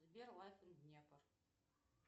сбер лайф ин днепр